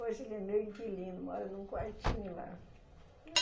Hoje ele é meu inquilino, mora num quartinho lá.